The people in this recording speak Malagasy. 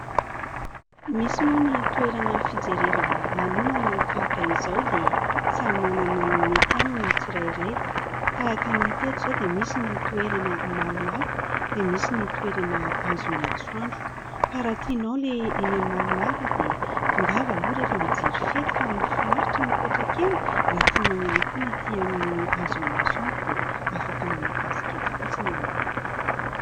Misy moa ny toerana fijerevana lanonana tahaka izao dia samy manana ny mety aminy tsirairay. Tahaka ny hita teto izao dia misy ny toerana malomaloka dia misy ny toerana azon'ny masoandro ka raha tinao ilay eny amin'ny malomaloka dia tongava aloha rehefa mijery fety fa mahafinaritra nipetraka eny. Raha tianao ihany koa ny atỳ amin'ny azon'ny masoandro dia afaka manao kasikety fotsiny ianao.